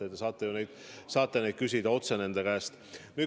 Te saate ju neid küsida otse nende käest.